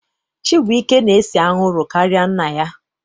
Chibuike na-ese anwụrụ karịa nna ya.